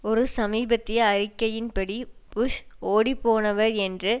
ஒரு சமீபத்திய அறிக்கையின் படி புஷ் ஒடி போனவர் என்று